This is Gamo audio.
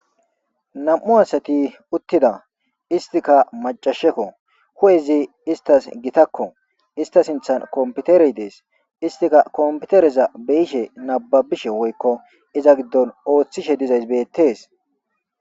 Namu asati uttida istika macaseko hu'ezi izas gasheko ista sinththan kompitere dess. Istika kompitere beyishe nababishe woyko iza gidon oothishe dizayssa beetes